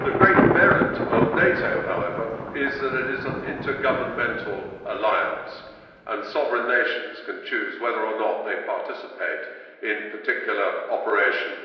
The great merit of NATO, however, is that it is an intergovernmental alliance, and sovereign nations can choose whether or not they participate in particular operations.